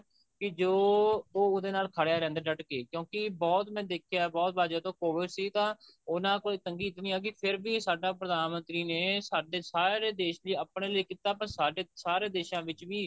ਕਿ ਜੋ ਉਹਦੇ ਨਾਲ ਖੜੀਆਂ ਰਹਿੰਦਾ ਡਟ ਕੇ ਕਿਉਂਕਿ ਬਹੁਤ ਮੈਂ ਦੇਖਿਆ ਬਹੁਤ ਵਾਰ ਜਦੋਂ COVID ਸੀ ਤਾਂ ਉਹਨਾ ਕੋਲ ਤੰਗੀ ਇਤਨੀ ਆ ਗਈ ਫੇਰ ਵੀ ਸਾਡਾ ਪ੍ਰਧਾਨਮੰਤਰੀ ਨੇ ਸਾਡੇ ਸਾਰੇ ਦੇਸ਼ ਦੀ ਆਪਣੇ ਲਈ ਕੀਤਾ ਪਰ ਸਾਡੇ ਸਾਰੇ ਦੇਸ਼ਾਂ ਵਿੱਚ ਵੀ